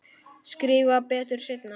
Skrifa betur seinna.